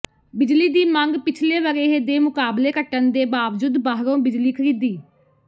ਬਿਜਲੀ ਦੀ ਮੰਗ ਪਿਛਲੇ ਵਰੇ੍ਹ ਦੇ ਮੁਕਾਬਲੇ ਘਟਣ ਦੇ ਬਾਵਜੂਦ ਬਾਹਰੋਂ ਬਿਜਲੀ ਖ਼ਰੀਦੀ